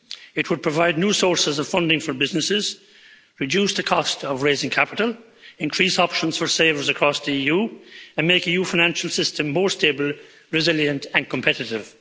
It would provide new sources of funding for businesses, reduce the cost of raising capital, increase options for savings across the EU, and make EU financial system more stable, resilient and competitive.